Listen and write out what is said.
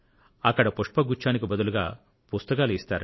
అక్కడ పుష్ప గుచ్ఛానికి బదులుగా పుస్తకాలు ఇస్తారట